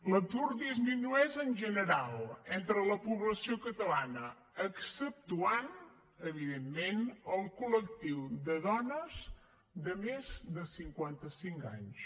l’atur disminueix en general entre la població catalana exceptuant ne evidentment el col·lectiu de dones de més de cinquanta cinc anys